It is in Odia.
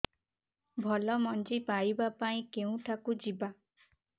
ଭଲ ମଞ୍ଜି ପାଇବା ପାଇଁ କେଉଁଠାକୁ ଯିବା